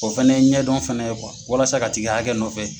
O fana ye ɲɛdɔn fana ye walasa ka t'i ka hakɛ nɔfɛ.